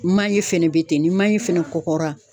Manje fɛnɛ bɛ ten ni manje fɛnɛ kɔgɔra.